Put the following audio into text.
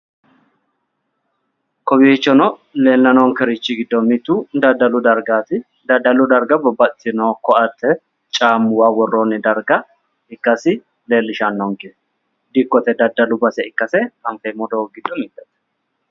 kowiichono leellanni noonkerichi giddo mittu daddalu dargaati daddalu darga babbaxitino koatte caammuwa worroonni darga ikkasi leellishshanonke dikkote daddalu base ikkase anfeemmo doogo giddonni mittete.